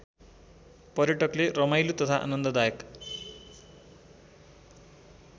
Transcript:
पर्यटकले रमाइलो तथा आनन्ददायक